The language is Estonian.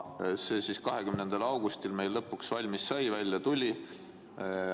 See sai meil valmis 20. augustil.